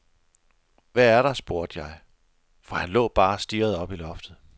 Hvad er der, spurgte jeg, for han lå bare og stirrede op i loftet.